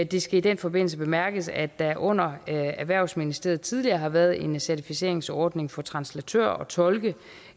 det skal i den forbindelse bemærkes at der under erhvervsministeriet tidligere har været en certificeringsordning for translatører og tolke